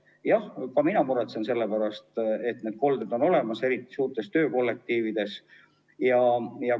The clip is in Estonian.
Jah, ka mina muretsen selle pärast, et need kolded on olemas, eriti suurtes töökollektiivides.